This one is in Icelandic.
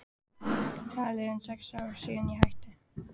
Það eru liðin sex ár síðan ég hætti.